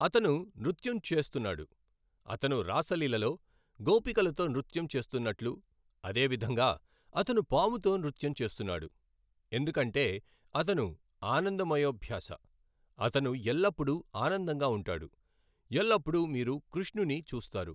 అతను నృత్యం చేస్తున్నాడు, అతను రాసలీలలో గోపికలతో నృత్యం చేస్తున్నట్లు అదే, విధంగా అతను పాముతో నృత్యం చేస్తున్నాడు, ఎందుకంటే అతను ఆనందమయోభ్యాస, అతను ఎల్లప్పుడూ ఆనందంగా ఉంటాడు, ఎల్లప్పుడూ మీరు కృష్ణుని చూస్తారు.